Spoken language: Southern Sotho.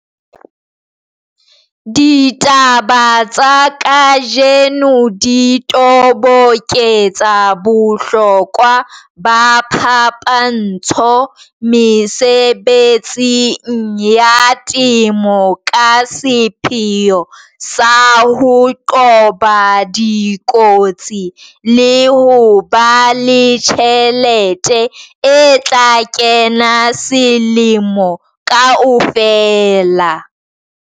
DITABA TSA KAJENO DI TOBOKETSA BOHLOKWA BA PHAPANTSHO MESEBETSING YA TEMO KA SEPHEO SA HO QOBA DIKOTSI LE HO BA LE TJHELETE E TLA KENA SELEMO KAOFELA.